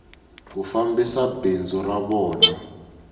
ku fambisa bindzu ra vona